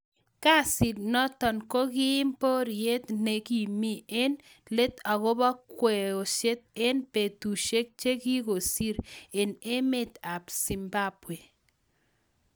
Kasit notok ko kokiim poriet ne gimi eng let akobo kweishet eng betushek che kikosir eng emet ab zimbwabwe.